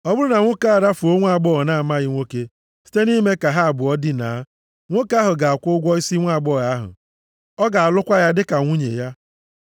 “Ọ bụrụ na nwoke arafuo nwaagbọghọ na-amaghị nwoke, + 22:16 \+xt Dit 22:28-29\+xt* site nʼime ka ha abụọ dinaa, nwoke ahụ ga-akwụ ụgwọ isi nwaagbọghọ ahụ. Ọ ga-alụkwa ya dịka nwunye ya.